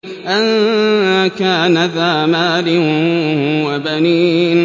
أَن كَانَ ذَا مَالٍ وَبَنِينَ